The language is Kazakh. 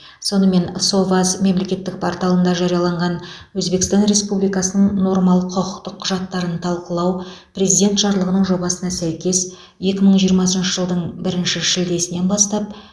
сонымен соваз мемлекеттік порталында жарияланған өзбекстан республикасының нормалық құқықтық құжаттарын талқылау президент жарлығының жобасына сәйкес екі мың жиырмасыншы жылдың бірінші шілдесінен бастап